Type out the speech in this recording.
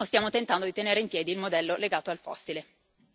o stiamo tentando di tenere in piedi il modello legato al fossile.